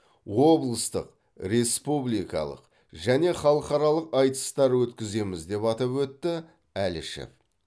облыстық республикалық және халықаралық айтыстар өткіземіз деп атап өтті әлішев